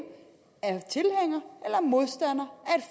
er modstander